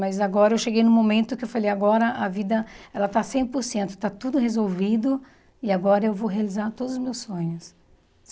Mas agora eu cheguei num momento que eu falei, agora a vida ela está cem por cento, está tudo resolvido, e agora eu vou realizar todos os meus sonhos.